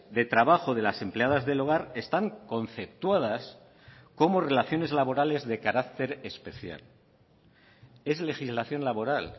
de trabajo de las empleadas del hogar están conceptuadas como relaciones laborales de carácter especial es legislación laboral